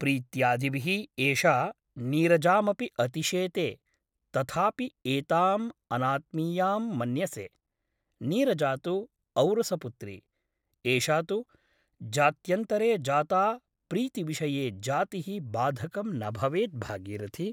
प्रीत्यादिभिः एषा नीरजामपि अतिशेते । तथापि एताम् अनात्मीयां मन्यसे । नीरजा तु औरसपुत्री । एषा तु जात्यन्तरे जाता प्रीतिविषये जातिः बाधकं न भवेत् भागीरथि ।